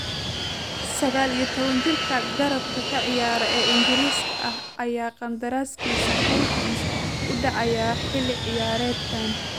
Sagaal iyo tobanka jirka garabka ka ciyaara ee Ingariiska ah ayaa qandaraaskiisa Hawthorns uu dhacayaa xilli ciyaareedkan.